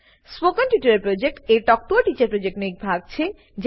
spoken tutorial project talk to a teacher પ્રોજેક્ટનો એક ભાગ છે